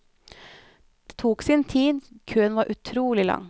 Det tok sin tid, køen var utrolig lang.